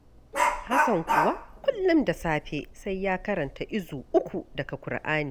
Hassan kuwa, kullum da safe sai ya karanta izu uku daga Ƙur'ani